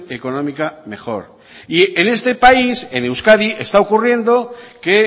económica mejor y en este país en euskadi está ocurriendo que